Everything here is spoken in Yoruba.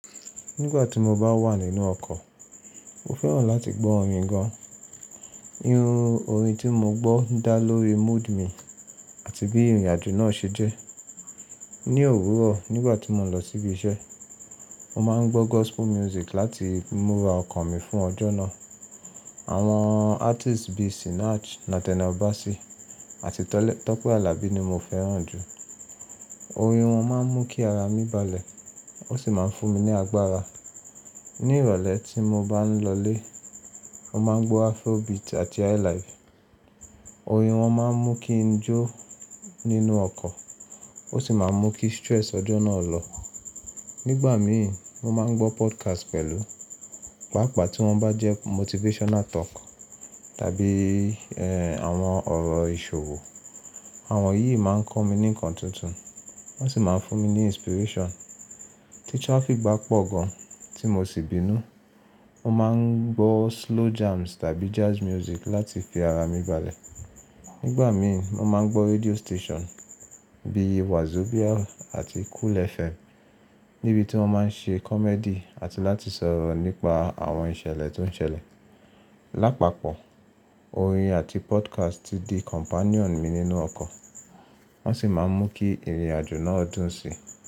Nígbà tí mo bá wà nínú ọkọ̀, mo fẹ́ràn láti gbọ́ orin gan. Irú orin tí mo gbọ́ ń dá lórí mood mi àti bí ìrìnàjò náà ṣe jẹ́. Ni òwúrọ̀ nígbà tí mo ń lọ síbi iṣẹ́, mo máa ń gbọ́ gospel music láti múra ọkàn mi fún ọjọ́ náà. Àwọn artists bíi Sinach, Nathaniel Bassey àti Tọ́pẹ́ Àlàbí ni mo fẹ́ràn jù. Orin wọn máa ń mú kí ara mi balẹ̀ ó sì máa ń fún mi ní agbára. Ni ìrọ̀lẹ́ tí mo bá ń lọlé, mo máa ń gbọ́ Afrobeat àti Highlife. Orin wọn máa ń mú kí n jó nínú ọkọ̀ ó sì máa ń mú kí stress ọjọ́ náà lọ. Nígbà mi, mo máa ń gbọ́ podcast pẹ̀lú, pàápàá tí wọ́n bá jẹ́ motivational talk tàbí ẹ́ àwọn ọ̀rọ̀ ìṣòwò. Àwọn yìí máa ń kọ́ mi ní nǹkan tuntun, wọ́n sì máa ń fún mi ní inspiration. Tí traffic bá pọ̀ gan tí mo sì bínú, mo máa ń gbọ́ slow jams tàbí jazz music láti fi ara mi balẹ̀. Nígbà mi, mo máa ń gbọ́ radio station bíi Wazobia àti Cool FM níbi tí wọ́n máa ń ṣe comedy àti láti sọ̀rọ̀ nípa àwọn ìṣẹ̀lẹ̀ tó ń ṣẹlẹ̀. Lápapọ̀, orin àti podcast ti di companion mi nínú ọkọ̀, wọ́n sì máa ń mú kí ìrìnàjò náà dùn síi.